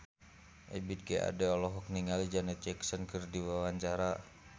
Ebith G. Ade olohok ningali Janet Jackson keur diwawancara